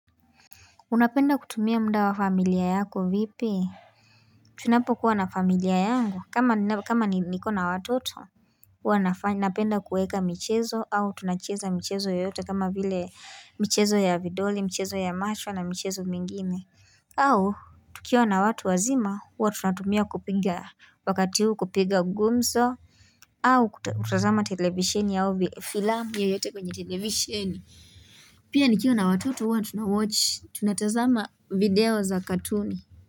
Unapenda kutumia muda wa familia yako vipi Tunapo kuwa na familia yangu kama niko na watoto napenda kuweka michezo au tunacheza michezo yoyote kama vile michezo ya vidole michezo ya macho na michezo mingine au tukiwa na watu wazima huwa tunatumia kupiga wakati huu kupiga gumzo au kutazama televisheni au filamu yoyote kwenye televisheni Pia nikiwa na watoto wa tunatazama video za katuni.